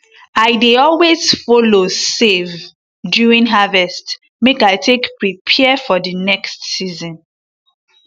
i dey always follow save during harvest make i take prepare for di next season